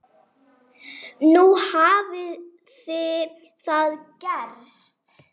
Nú hafði það gerst.